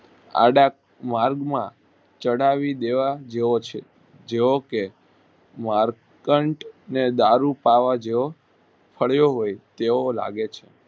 આડા માર્ગ માં ચડાવી દેવા જેવો છે જેવો કે વારકાંઠ અને દારૂ પાવા જેવો તેવો લાગે છે.